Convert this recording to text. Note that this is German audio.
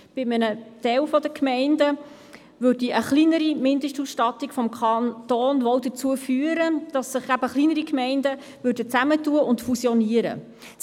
Bei einem Teil der Gemeinden führte eine kleinere Mindestausstattung des Kantons dazu, dass kleinere Gemeinden sich zusammenschliessen und fusionieren würden.